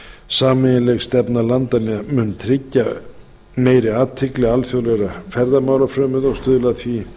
sameiginleg stefna vestnorrænu landanna mun tryggja meiri athygli alþjóðlegra ferðamálafrömuða og stuðla